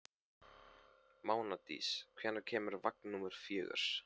Mánadís, hvenær kemur vagn númer fjögur?